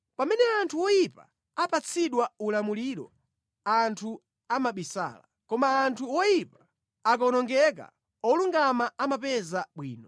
Pamene anthu oyipa apatsidwa ulamuliro anthu amabisala, koma anthu oyipa akawonongeka olungama amapeza bwino.